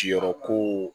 Siyɔrɔ ko